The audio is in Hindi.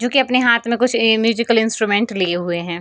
जो की अपने हाथ में कुछ ए म्यूजिकल इंस्ट्रूमेंट लिए हुए हैं।